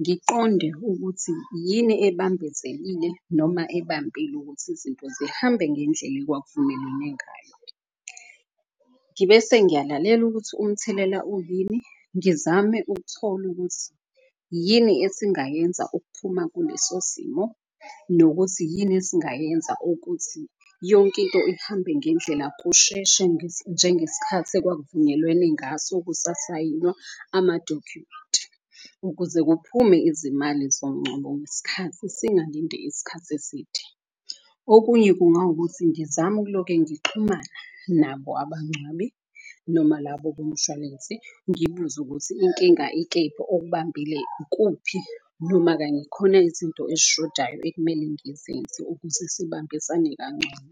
ngiqonde ukuthi yini ebambezelile noma ebambile ukuthi izinto zihambe ngendlela ekwakuvumelwene ngayo. Ngibe sengiyalalela ukuthi umthelela uyini, ngizame ukuthola ukuthi yini esingayenza ukuphuma kuleso simo. Nokuthi yini esingayenza ukuthi yonkinto ihambe ngendlela kusheshe njengeskhathi ekwakuvunyelwene ngaso kusasayinwa amadokhumenti. Ukuze kuphume izimali zomngcwabo ngesikhathi singalindi isikhathi eside. Okunye kungawukuthi ngizame ukuloke ngixhumana nabo abagcwabi noma labo bomshwalense ngibuze ukuthi inkinga ikephi okubambile ikuphi. Noma kanye khona izinto ezishodayo ekumele ngizenze ukuze sibambisane kangcono.